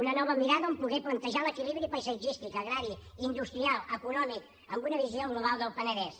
una nova mirada on poder plantejar l’equilibri paisatgístic agrari industrial econòmic amb una visió global del penedès